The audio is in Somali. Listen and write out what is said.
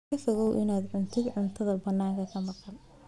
Ka fogow inaad cuntid cuntada bannaanka ka maqan.